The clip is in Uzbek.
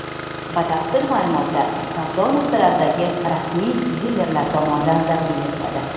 Batafsil ma’lumotlar savdo nuqtalaridagi rasmiy dilerlar tomonidan taqdim etiladi.